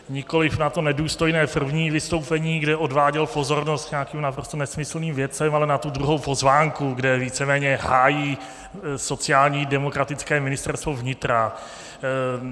Nikoliv na to nedůstojné první vystoupení, kde odváděl pozornost k nějakým naprosto nesmyslným věcem, ale na tu druhou poznámku, kde víceméně hájí sociálně demokratické Ministerstvo vnitra.